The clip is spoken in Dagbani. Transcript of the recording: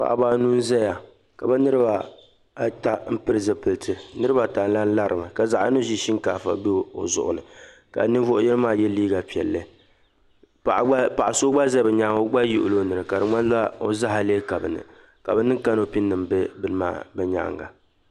paɣ'ba anu n zaya ka bɛ niriba ata pili zupiliti niriba ata lari mi ka zaɣ'yino ʒi shinkaafa o zuɣu ni ka ninvuɣ'yino maa ye liiga piɛlli paɣa gba paɣ'so za bɛ nyaaŋa o gba yihila o nini ka di ŋmani o zaɣi leei ka bɛ niŋ kanopi bɛ maani bɛ nyaaŋa.